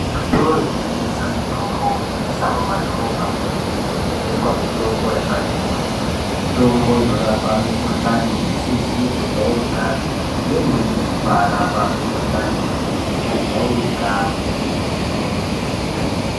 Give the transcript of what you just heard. Muzvitoro zvinotengesa mitombo kunyanyis,a mumadhorobhamwo umwomwo, munotengeswa mitombo yakati kuti , mitombo inorapa mikhuhlani isizi kujairikapi , neimweni yekubaarapa mikhuhlani yakajairika kwemene.